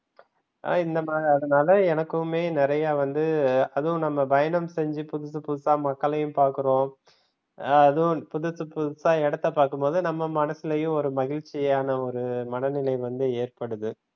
ஹம் இந்த மாறி அதனால எனக்குமே நிறைய வந்து அதுவும் நம்ம பயணம் செஞ்சு புதுசு புதுசா மக்களையும் பாக்குறோம். அதுவும் புதுசு புதுசா இடத்தை பார்க்கும்போது நம்ம மனசுலயும் ஒரு மகிழ்ச்சியான ஒரு மனநிலை வந்து ஏற்படுது.